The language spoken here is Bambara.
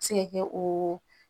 Se ka kɛ o